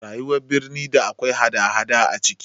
Rayuwar birni da akwai hada hada a ciki